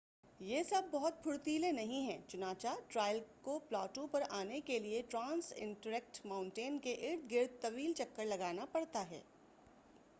یہ سب بہت پھرتیلے نہیں ہیں، چنانچہ ٹرائیل کو پلاٹو پر آنے کے لئے ٹرانس انٹرکٹٹ ما‏ؤنٹین کے ارد گرد طویل چکر لگانا پڑتا ہے۔